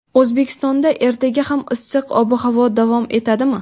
O‘zbekistonda ertaga ham issiq ob-havo davom etadimi?.